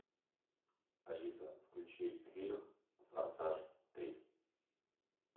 алиса включи фильм форсаж три